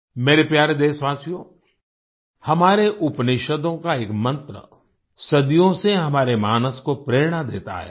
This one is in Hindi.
मेरे प्यारे देशवासियो हमारे उपनिषदों का एक मंत्र सदियों से हमारे मानस को प्रेरणा देता आया है